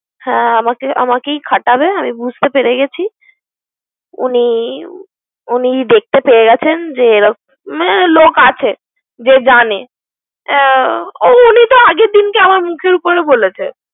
হ্যা আমাকে আমাকেই খাটাবে আমি বুঝতে পেরে গেছি। উনি উনি দেখতে পেরে গেছেন। যে মানে লোক আছে। যে জানে ওনি তো আগে থেকিই আমর মুখের উপর বলেছে